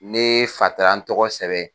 Ne fa taara n tɔgɔ sɛbɛn.